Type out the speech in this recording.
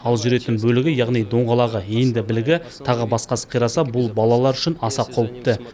ал жүретін бөлігі яғни доңғалағы иінді білігі тағы басқасы қираса бұл балалар үшін аса қауіпті